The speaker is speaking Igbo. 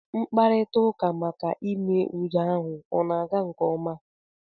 Mkparita ụka maka ime udo ahụ ọ na-aga nke ọma?